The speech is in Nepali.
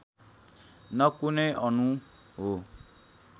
न कुनै अणु हो